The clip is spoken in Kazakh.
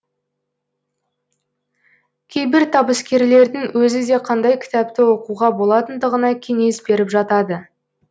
кейбір табыскерлердің өзі де қандай кітапты оқуға болатындығына кеңес беріп жатады